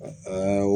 An y'o